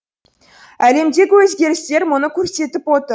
әлемдегі өзгерістер мұны көрсетіп отыр